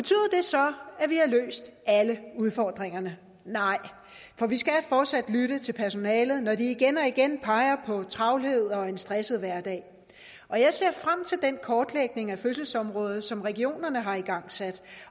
har løst alle udfordringerne nej for vi skal fortsat lytte til personalet når de igen og igen peger på travlhed og en stresset hverdag og jeg ser frem til den kortlægning af fødselsområdet som regionerne har igangsat